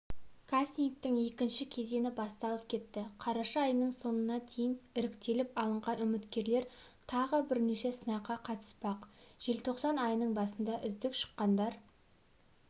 кастингтің екінші кезеңі басталып кетті қараша айының соңына дейін іріктеліп алынған үміткерлер тағы бірнеше сынаққа қатыспақ желтоқсан айының басында үздік шыққандар